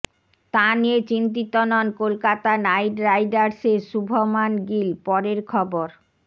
তা নিয়ে চিন্তিত নন কলকাতা নাইট রাইডার্সের শুভমান গিল পরের খবর